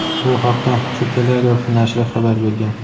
Bu haqda "The Telegraph" nashri xabar bergan.